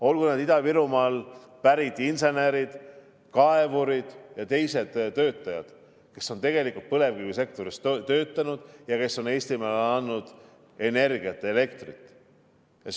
Olgu need Ida-Virumaalt pärit insenerid, kaevurid ja teised töötajad, kes on põlevkivisektoris töötanud ja kes on Eestimaale andnud energiat, elektrit.